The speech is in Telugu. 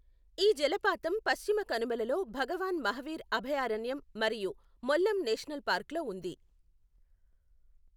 ఈ జలపాతం పశ్చిమ కనుమలలో భగవాన్ మహావీర్ అభయారణ్యం మరియు మొల్లెం నేషనల్ పార్క్లో ఉంది.